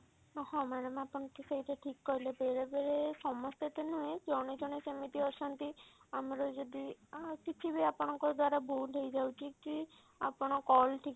ହଁ ହଁ madam ଆପଣ ଠିକ ଏଇଟା ଠିକ କହିଲେ ବେଳେ ବେଳେ ସମସ୍ତେ ତ ନୁହେଁ ଜଣେ ଜଣେ ସେମିତି ଅଛନ୍ତି ଆମର ଯଦି ଆ କିଛି ବି ଯଦି ଆପଣଙ୍କ ଦ୍ଵାରା ଭୁଲ ହେଇଯାଉଛି କି ଆପଣ call ଠିକ